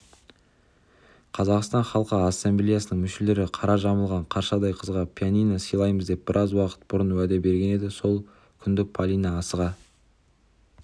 қазақстан халқы ассамблеясының мүшелері қара жамылған қаршадай қызға пианино сыйлаймыз деп біраз уақыт бұрын уәде берген еді сол күнді полина асыға